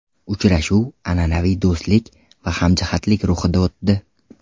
Uchrashuv an’anaviy do‘stlik va hamjihatlik ruhida o‘tdi.